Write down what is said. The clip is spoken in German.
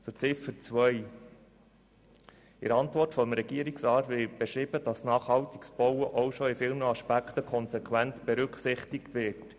Zu Ziffer 2: In der Antwort des Regierungsrats wird beschrieben, dass nachhaltiges Bauen bereits in vielen Aspekten konsequent berücksichtigt wird.